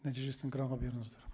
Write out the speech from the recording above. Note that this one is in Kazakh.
нәтижесін экранға беріңіздер